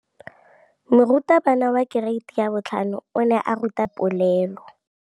Moratabana wa kereiti ya 5 o ne a ruta baithuti ka popô ya polelô.